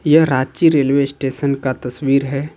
यह Ranchi railway station का तस्वीर है।